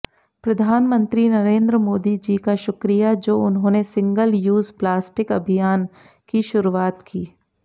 प्रधानमंत्री नरेंद्र मोदी जी का शुक्रिया जो उन्होंने सिंगल यूज प्लास्टिक अभियान की शुरुआत की